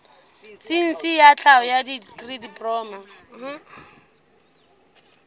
saense ya tlhaho dikri diploma